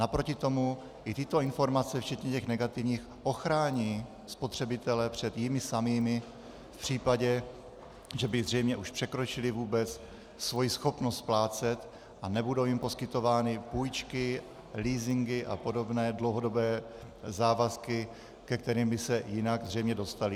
Naproti tomu i tyto informace včetně těch negativních ochrání spotřebitele před jimi samými v případě, že by zřejmě už překročili vůbec svoji schopnost splácet, a nebudou jim poskytovány půjčky, leasingy a podobné dlouhodobé závazky, ke kterým by se jinak zřejmě dostali.